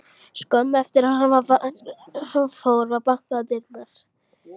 Skömmu eftir að hann fór var bankað á dyrnar.